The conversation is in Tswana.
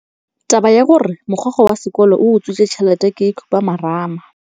Taba ya gore mogokgo wa sekolo o utswitse tšhelete ke khupamarama.